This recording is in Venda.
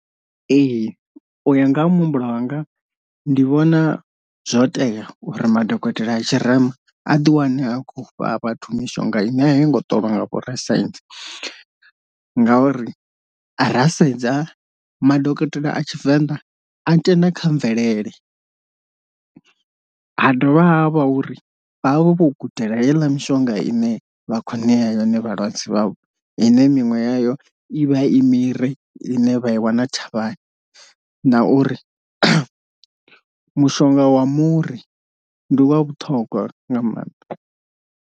Ee u ya nga ha muhumbulo hanga ndi vhona zwo tea uri madokotela a tshirema a ḓi wane a kho fha vhathu mishonga ine a yi ngo ṱolwa nga afho rasaintsi, ngauri ra sedza madokotela a tshivenḓa a tenda kha mvelele ha dovha ha vha uri vha vha vho vho gudela heiḽa mishonga ine vha kho nea yone vhalwadze vhavho, ine minwe yayo i vha i miri ine vha i wana thavhani na uri mushonga wa muri ndi u wa vhuṱhogwa nga maanḓa.